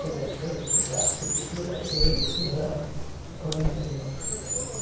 Quer dizer, ele fez a arquitetura e eu fiz a o interior.